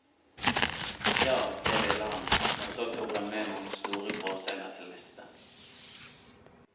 Ja, det ville han, og så tok han med noen store gråsteiner til niste.